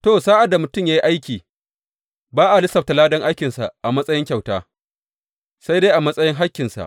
To, sa’ad da mutum ya yi aiki, ba a lissafta ladan aikinsa a matsayin kyauta, sai dai a matsayin hakkinsa.